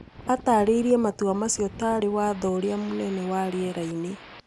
ataarĩirie matua macio ta arĩ 'Watho ũrĩa Mũnene wa rĩera-inĩ.'"